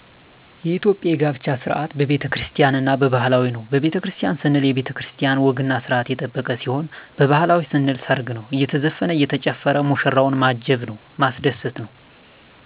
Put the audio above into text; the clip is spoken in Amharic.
የኢትዮጵያ የጋብቻ ስርዓት በቤተክርስቲያን እና በባህላዊ ነው በቤተክርስቲያን ስንል የቤተክርስቲያን ወግና ስርአት የጠበቀ ሲሆን ባህላዊ ስንል ሰርግ ነው አየተዘፈነ እየተጨፈረ ሙሽራዎችን ማጀብ ነው ማስደሰት ነው